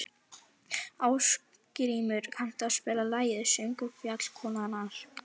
Ásgrímur, kanntu að spila lagið „Söngur fjallkonunnar“?